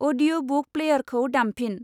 अदिय'बुक प्लैयरखौ दामफिन।